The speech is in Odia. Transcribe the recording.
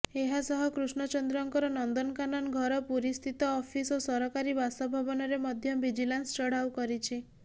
ଏହା ସହ କୃଷ୍ଣଚନ୍ଦ୍ରଙ୍କର ନନ୍ଦନକାନନ ଘର ପୁରୀସ୍ଥିତ ଅଫିସ ଓ ସରକାରୀ ବାସଭବନରେ ମଧ୍ୟ ଭିଜିଲାନ୍ସ ଚଢ଼ାଉ କରିଛି